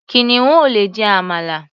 Kìnìún ò lè jẹ àmàlà.